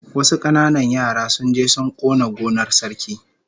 Wasu kananan yara sun je sun kona gonar Sarki